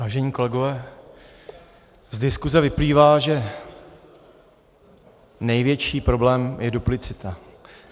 Vážení kolegové, z diskuse vyplývá, že největší problém je duplicita.